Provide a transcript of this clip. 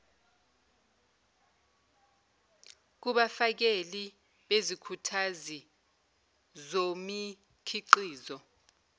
kubafakeli bezikhuthazi zomikhiqizo